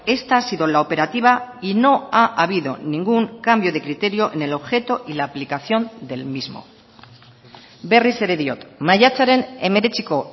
esta ha sido la operativa y no ha habido ningún cambio de criterio en el objeto y la aplicación del mismo berriz ere diot maiatzaren hemeretziko